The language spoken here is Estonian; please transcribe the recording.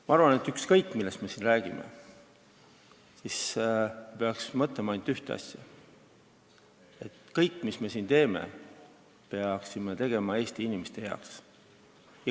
Ma arvan, et ükskõik, millest me siin räägime, me peaksime mõtlema ainult ühele asjale: et kõike, mida me siin teeme, me peaksime tegema Eesti inimeste heaks.